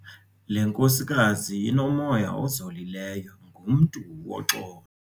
Le nkosikazi inomya ozolileyo, ngumntu woxolo.